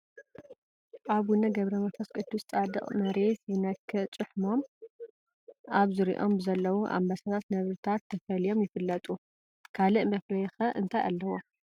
ኣቡነ ገብረ መንፈስ ቅዱስ ፃድቕ መሬት ብዝነክእ ጭሕሞምን ኣብ ዙርይኦም ብዘለዉ ኣንበሳታትን ነብርታትን ተፈልዮም ይፍለጡ፡፡ ካልእ መፍለዪ ኸ እንታይ ኣለዎም?